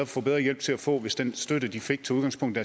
få bedre hjælp til at få hvis den støtte de fik tog udgangspunkt i